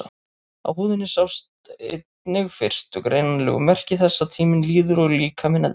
Á húðinni sjást einnig fyrstu greinanlegu merki þess að tíminn líður og líkaminn eldist.